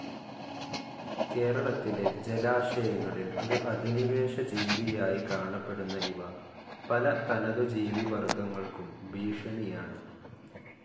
കേരളത്തിലെ ജലാശയങ്ങളിൽ ഒരു അധിനിവേശ ജീവിയായി കാണപ്പെടുന്ന ഇവ പല തനതു ജീവി വർഗങ്ങൾക്കും ഭീഷണിയാണ്.